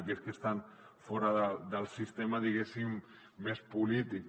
aquells que estan fora del sistema més polític